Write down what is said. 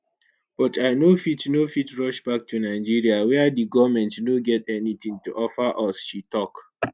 but i no fit no fit rush back to nigeria wia di goment no get anytin to offer us” she tok.